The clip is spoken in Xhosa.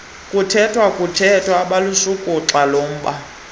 kuthethwathethwano obelushukuxa lomba